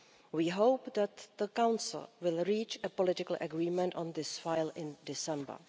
We hope that the Council will reach a political agreement on this file in December.